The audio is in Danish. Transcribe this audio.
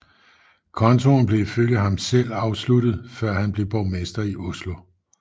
Kontoen blev ifølge ham selv afsluttet før han blev borgmester i Oslo